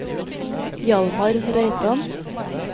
Hjalmar Reitan